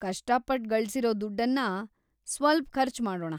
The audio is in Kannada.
ಕಷ್ಟಪಟ್ ಗಳ್ಸಿರೋ ದುಡ್ಡನ್ನ ಸ್ವಲ್ಪ್‌ ಖರ್ಚಮಾಡೋಣ.